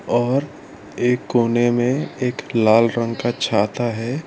और एक कोने में एक लाल रंग का छाता है।